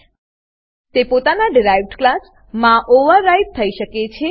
તે પોતાના derived class derived class માં ઓવરરાઈડ થઇ શકે છે